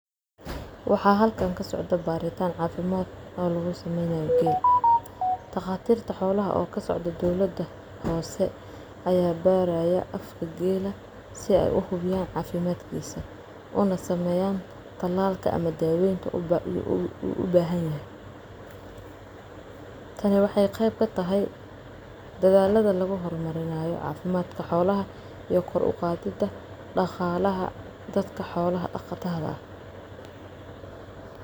Waxa halkan kasocdo baritan cafimad oo lugusameynayo geel daqatir xolaha oo kasocdo dowlada hoose aya baraya afka gel si ey uhubiyan talaka ama dawoyinka uu ubahanyahy tani wexey qeyb kataahy dadalada luguhormarinaye cafimad xolaha iyo koor uqadida daqalaha dadka xollo daqatada ah.